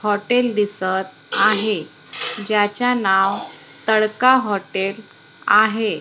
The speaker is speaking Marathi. हॉटेल दिसत आहे ज्याच्या नाव तडका हॉटेल आहे.